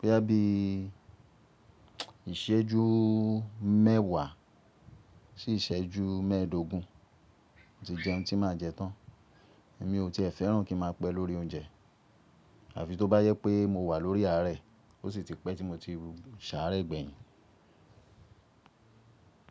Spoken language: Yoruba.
boya bí ìṣẹ́jú mẹ́wàá, sì ìṣẹ́jú mẹ́ẹ̀dógún tí jẹun tí máa jẹ tán. Èmi ò tíẹ̀ fẹ́ràn kí n máa pẹ́ lórí oúnjẹ. Àfi tó bá yẹ pé mo wà lórí ààrẹ, ó sì ti pẹ́ tí mo ti sàárẹ̀ gbẹ̀yìn.